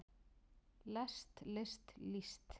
lest list líst